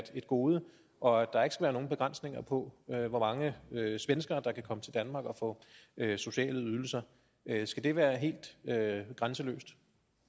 et gode og at der ikke skal være nogen begrænsninger på hvor mange svenskere der kan komme til danmark og få sociale ydelser skal det være helt grænseløst